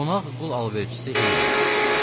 Qonaq qul alverçisi Heyli idi.